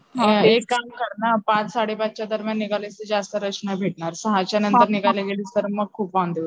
मग एक काम कर ना पाच साडेपाच च्या दरम्यान निघाली तर जास्त रश नाही भेटणार, सहाच्या नंतर निघायला गेलीस तर खूप वांदे होतील.